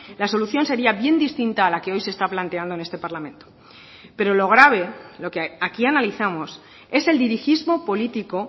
la solución sería bien distinta a la que hoy se está planteando en este parlamento pero lo grave lo que aquí analizamos es el dirigismo político